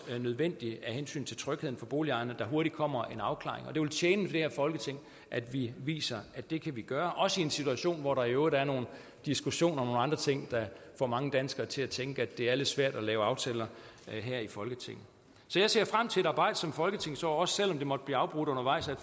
nødvendigt af hensyn til trygheden for boligejerne at der hurtigt kommer en afklaring og det vil tjene det her folketing at vi viser at det kan vi gøre også i en situation hvor der i øvrigt er nogle diskussioner om nogle andre ting der får mange danskere til at tænke at det er lidt svært at lave aftaler her i folketinget så jeg ser frem til et arbejdsomt folketingsår også selv om det måtte blive afbrudt undervejs af